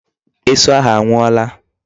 Esu ahụ anwụọla.